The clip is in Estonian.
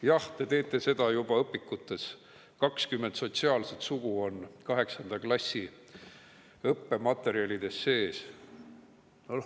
Jah, te teete seda juba õpikutes, 20 sotsiaalset sugu on 8. klassi õppematerjalides sees.